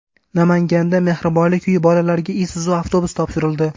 Namanganda Mehribonlik uyi bolalariga Isuzu avtobusi topshirildi .